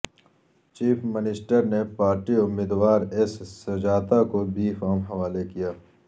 chief minister نے party امیدوار S Sujata کو بی فارم حوالے کیا